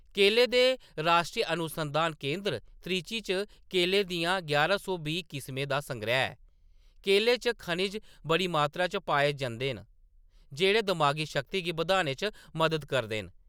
केलें दे राश्ट्री अनुसंधान केंदर त्रिची च केलें दियें यारां सौ बीह् किस्में दा संगैह्‌‌ ऐ! केले च खनिज बड़ी मात्तरा च पाए जंदे न, जेह्‌‌ड़े दमागी शक्ति गी बधाने च मदद करदे न ।